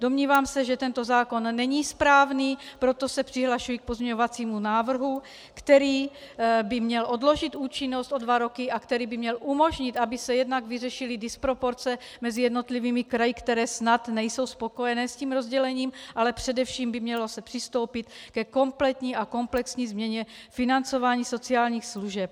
Domnívám se, že tento zákon není správný, proto se přihlašuji k pozměňovacímu návrhu, který by měl odložit účinnost o dva roky a který by měl umožnit, aby se jednak vyřešily disproporce mezi jednotlivými kraji, které snad nejsou spokojené s tím rozdělením, ale především by se mělo přistoupit ke kompletní a komplexní změně financování sociálních služeb.